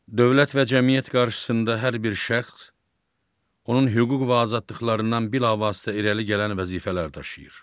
Dövlət və cəmiyyət qarşısında hər bir şəxs onun hüquq və azadlıqlarından bilavasitə irəli gələn vəzifələr daşıyır.